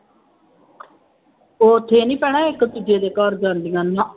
ਉੱਥੇ ਨਹੀਂ ਪੈਣਾ ਇੱਕ ਦੂਜੇ ਘਰ ਜਾਂਦੀਆਂ ਨਾ